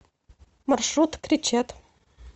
маршрут кречет